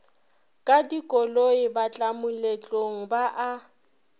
ka dikoloi batlamoletlong ba a